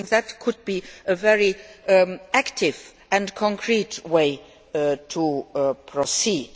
I think that could be a very active and concrete way to proceed.